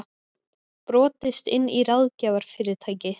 Brotist inn í ráðgjafarfyrirtæki